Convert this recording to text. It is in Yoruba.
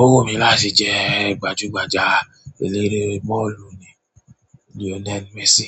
Owu mi láti je gbaju gbaja eleere bọ́ọ̀lù bi Lionel Messi